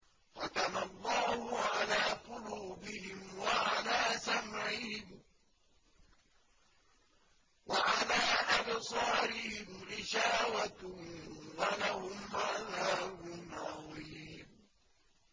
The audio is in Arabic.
خَتَمَ اللَّهُ عَلَىٰ قُلُوبِهِمْ وَعَلَىٰ سَمْعِهِمْ ۖ وَعَلَىٰ أَبْصَارِهِمْ غِشَاوَةٌ ۖ وَلَهُمْ عَذَابٌ عَظِيمٌ